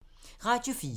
Radio 4